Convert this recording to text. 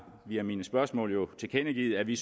via mine spørgsmål jo tilkendegivet at vi